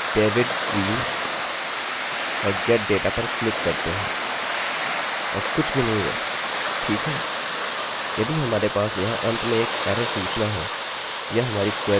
यदि हमारे पास यहाँ अंत में एक एररerrorसूचना हैयह हमारी क्वेरी यहाँ पर लिखी हुई है मैं लिख सकता हूँ or die mysql error